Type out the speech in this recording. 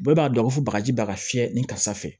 Bɛɛ b'a dɔn ko bagaji baga fiyɛ ni karisa fɛ